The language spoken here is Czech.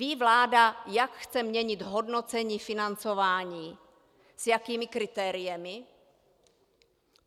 Ví vláda, jak chce měnit hodnocení financování, s jakými kritérii?